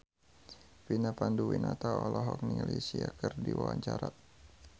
Vina Panduwinata olohok ningali Sia keur diwawancara